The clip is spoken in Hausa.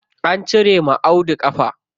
An cire wa Audu ƙafa.